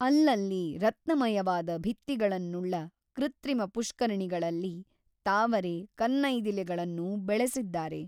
ಅಲ್ಲಲ್ಲಿ ರತ್ನಮಯವಾದ ಭಿತ್ತಿಗಳನ್ನುಳ್ಳ ಕೃತ್ರಿಮ ಪುಷ್ಕರಿಣಿಗಳಲ್ಲಿ ತಾವರೆ ಕನ್ನೈದಿಲೆಗಳನ್ನು ಬೆಳೆಸಿದ್ದಾರೆ.